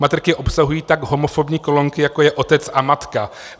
Matriky obsahují tak homofobní kolonky, jako je otec a matka.